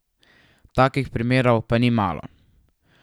Takih primerov pa ni malo.